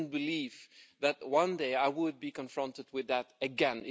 I didn't believe that one day I would be confronted with that again.